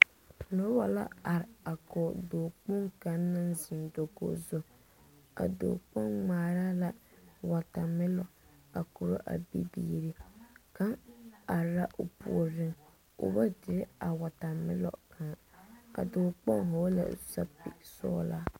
Nebɔ la are a kɔɔ dɔɔ kpong kang na zeŋ dakoge zu. A dɔɔ kpong ŋmaara la wɔtamilɔ a kuro a bibiire. Kang are la o pooreŋ. O ba dire a wɔtamilɔ kang. A dɔɔ kpong vogla sapig sɔglaa